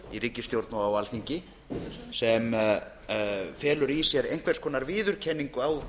í ríkisstjórn og á alþingi sem felur í sér einhvers konar viðurkenningu á